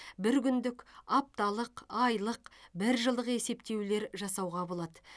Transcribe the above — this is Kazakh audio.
бір күндік апталық айлық бір жылдық есептеулер жасауға болады